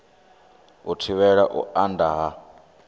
u thivhela u anda ha